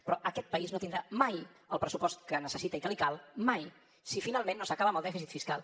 però aquest país no tindrà mai el pressupost que necessita i que li cal mai si finalment no s’acaba amb el dèficit fiscal